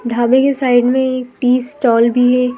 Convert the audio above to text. ढाबे के साइड में एक टी स्टॉल भी है।